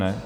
Ne.